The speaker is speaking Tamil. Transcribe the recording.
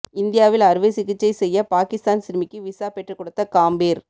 இந்தியாவில் அறுவை சிகிச்சை செய்ய பாகிஸ்தான் சிறுமிக்கு விசா பெற்று கொடுத்த காம்பீர்